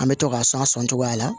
An bɛ to k'a san o cogoya la